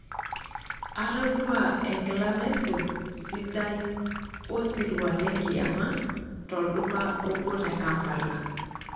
Atodua enkila naisul sidai osirua lenkiyama tolduka obo te Kampala.